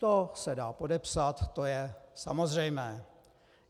To se dá podepsat, to je samozřejmé.